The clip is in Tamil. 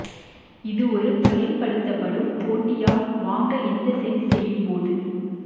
இது ஒரு பயன்படுத்தப்படும் போண்டியாக் வாங்க எந்த சென்ஸ் செய்யும் போது